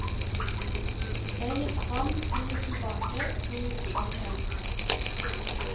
En gikk fram, to gikk tilbake, to gikk fram igjen.